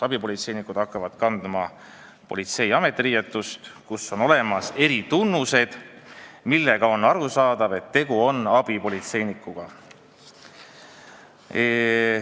Abipolitseinik hakkab kandma politsei ametiriietust, millel on eritunnused, nii et on arusaadav, et tegu on abipolitseinikuga.